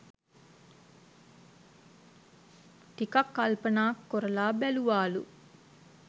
ටිකක් කල්පනා කොරලා බැලුවාලු